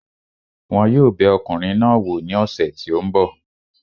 Wọn yóò bẹ ọkùnrin náà wò ní ọ̀sẹ̀ tí ó ń bọ̀